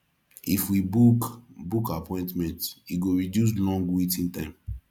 if we fit book book appointment e go reduce long waiting time